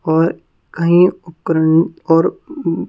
और कहीं उपकरण और अहं--